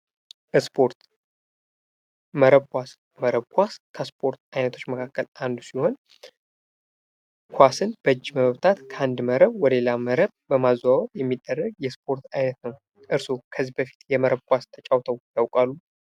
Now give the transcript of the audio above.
ስፖርት መረብ ኳስ ከስፖርት ዓይነቶች መካከል አንዱ ሲሆን ፤ኳስን በእጅ መፍታት ከአንድ መረብ ወደ ሌላ መረብ በማዘዋወር የሚደረግ የስፖርት ዓይነት ነው፣ እርስዎ ከዚህ በፊት የመረብ ኳስ ተጫውተው ያውቃሉ?